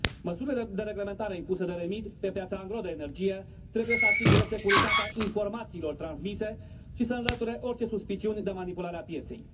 Măsurile de reglementare impuse de REMIT pe piața angró de energie trebuie să asigure securitatea informațiilor transmise și să înlăture orice suspiciuni de manipulare a pieței.